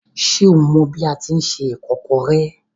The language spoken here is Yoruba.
Ṣé o mọ bi a tíi se ìkọ́kọrẹ́?